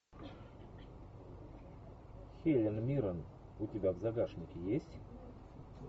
хелен миррен у тебя в загашнике есть